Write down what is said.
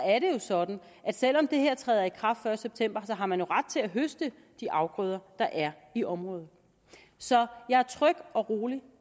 er det jo sådan at selv om det her træder i kraft den første september har man ret til at høste de afgrøder der er i området så jeg er tryg og rolig